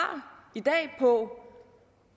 i dag på